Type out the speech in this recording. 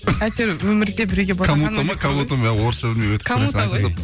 әйтеуір өмірде біреуге